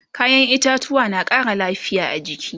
kayan itatauwa na Ƙara lafia a jiki